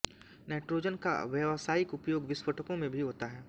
nitrogen का व्यावसायिक उपयोग विस्फोटकों में भी होता है